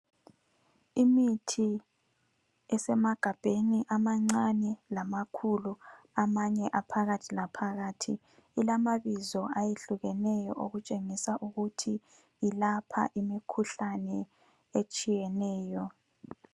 Imithi esemagabheni amancane lamakhulu, amanye aphakathi laphakathi. Ilamabizo ayehlukeneyo okutshengisa ukuthi ilapha imikhuhlane etshiyeneyo.